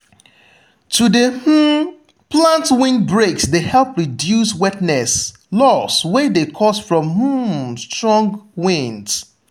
to de um plant windbreak de help reduce wetness loss wey de caused from um strong winds.